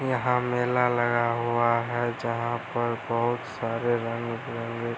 यहाँ मेला लगा हुआ है जहाँ पर बहुत सारे रंग बिरंगे --